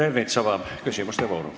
Peeter Ernits avab küsimuste vooru.